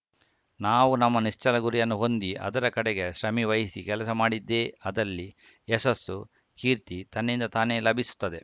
ನಾವು ನಮ್ಮ ನಿಶ್ಚಲ ಗುರಿಯನ್ನು ಹೊಂದಿ ಅದರ ಕಡೆಗೆ ಶ್ರಮೆವಹಿಸಿ ಕೆಲಸ ಮಾಡಿದ್ದೇ ಅದಲ್ಲಿ ಯಶಸ್ಸು ಕೀರ್ತಿ ತನ್ನಿಂದ ತಾನೇ ಲಭಿಸುತ್ತದೆ